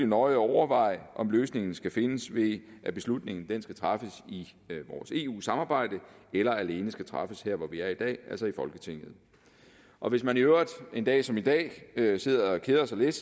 nøje overveje om løsningen skal findes ved at beslutningen skal træffes i vores eu samarbejde eller alene skal træffes her hvor vi er i dag altså i folketinget og hvis man i øvrigt en dag som i dag sidder og keder sig lidt